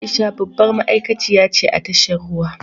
Aisha babbar ma’aikaciya ce a tashar ruwa.